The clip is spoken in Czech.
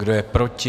Kdo je proti?